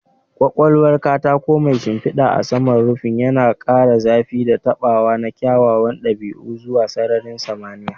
Ƙaƙwalwar katako mai shimfiɗa a saman rufin, yana ƙara zafi da taɓawa na kyawawan dabi'u zuwa sararin samaniya.